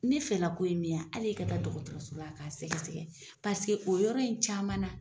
Ne fɛlako ye min ye hali e ka taa dɔgɔtɔrɔso k'a sɛgɛsɛ paseke o yɔrɔ in camanna